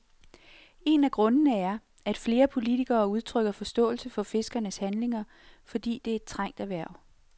En af grundene er, at flere politikere udtrykker forståelse for fiskernes handlinger, fordi det er et trængt erhverv.